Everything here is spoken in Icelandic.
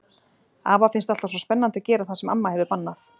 Afa finnst alltaf svo spennandi að gera það sem amma hefur bannað.